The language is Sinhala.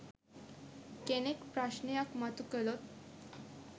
කෙනෙක් ප්‍රශ්නයක් මතු කළොත්?